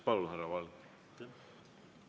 Palun, härra Valge!